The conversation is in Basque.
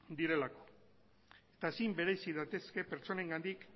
direlako eta ezin bereizi daitezke pertsonengandik